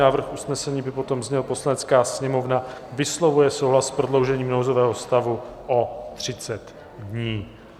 Návrh usnesení by potom zněl: "Poslanecká sněmovna vyslovuje souhlas s prodloužením nouzového stavu o 30 dní."